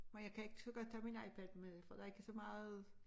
Men jeg kan ikke så godt have min iPad med for der er ikke så meget